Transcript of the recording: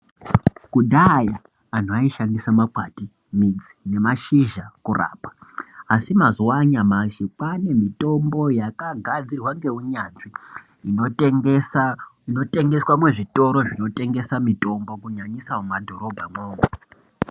Kudhaya anhu aishandisa makwati, midzi nemashizha kurapa. Asi mazuva anyamashi kwaane mitombo yakagadzirwa ngeunyanzvi, inotengeswa muzvitoro zvinotengesa mitombo, kunyanyisa mumadhorobhamwo umwo.